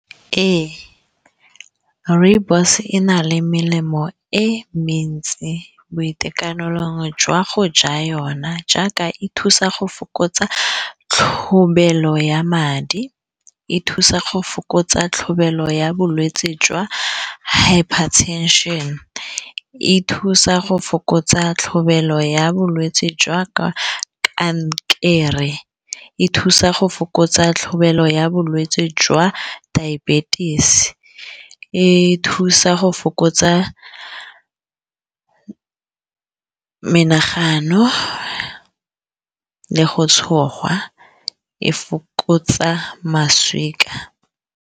Ee rooibos e na le melemo e mentsi boitekanelong jwa go ja yona jaaka e thusa go fokotsa tlhobaelo ya madi, e thusa go fokotsa tlhobaelo ya bolwetsi jwa hiper tension, e thusa go fokotsa tlhobaelo ya bolwetsi jwa ka kankere, e thusa go fokotsa tlhabelo ya bolwetsi jwa diabetic, e thusa go fokotsa menagano le go tshogwa e fokotsa maswika.